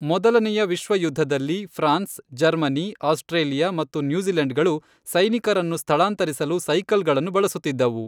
ಮೊದಲನೇಯ ವಿಶ್ವ ಯುದ್ಧದಲ್ಲಿ, France, Germany, Australia ಮತ್ತು ನ್ಯೂಜಿಲೆಂಡ್ಗಳು ಸೈನಿಕರನ್ನು ಸ್ಥಳಾಂತರಿಸಲು ಸೈಕಲ್ಗಳನ್ನು ಬಳಸುತ್ತಿದ್ದವು.